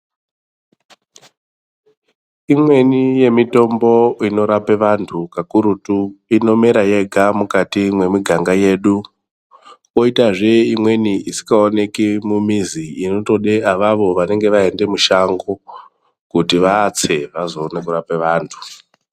Imweni yemitombo inorape vantu kakurutu inomera yega mumiganga yedu koita zveimweni isika oneki mumizi inotode avavo vane vaende mushango kuti vatse vatse vazoone kurape vantu